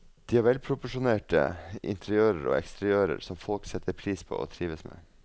De har velproporsjonerte interiører og eksteriører som folk setter pris på og trives med.